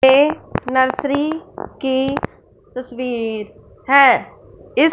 ये नर्सरी की तस्वीर है इस--